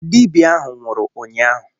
Dibia ahu nwuru ụnyahụ.